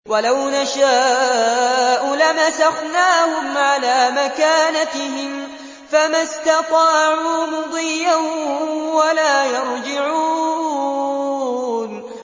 وَلَوْ نَشَاءُ لَمَسَخْنَاهُمْ عَلَىٰ مَكَانَتِهِمْ فَمَا اسْتَطَاعُوا مُضِيًّا وَلَا يَرْجِعُونَ